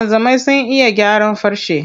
Wanzamai sun iya gyaran farce.